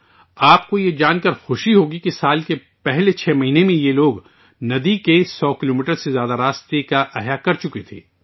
آپ کو یہ جان کر خوشی ہوگی کہ سال کے پہلے 6 مہینوں میں ان لوگوں نے 100 کلومیٹر سے زیادہ ندی کی تزئین و آرائش کی تھی